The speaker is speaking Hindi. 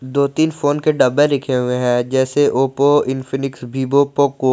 दो तीन फोन के डब्बे दिखे हुए हैं जैसे ओप्पो इंफिनिक्स वीवो पोको ।